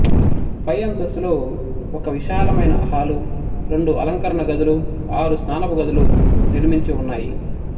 పై అంతస్తులో ఒక విశాలమైన హాలు రెండు అలంకరణ గదులు ఆరు స్నానపు గదులు నిర్మించి ఉన్నాయి